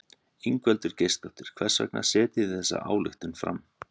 Ingveldur Geirsdóttir: Hvers vegna setjið þið þessa ályktun fram?